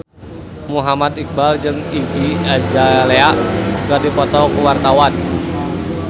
Muhammad Iqbal jeung Iggy Azalea keur dipoto ku wartawan